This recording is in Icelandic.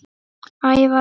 Ævar Örn